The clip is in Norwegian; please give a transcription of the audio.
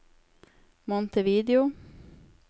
Montevideo